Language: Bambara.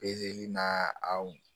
na aw